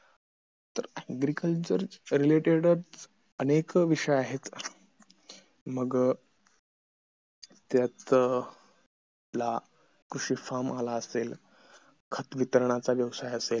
तर agriculture related अनेक विषय आहेत मग त्यातला कृषी farm खत वितरणाचा व्यवसाय असेल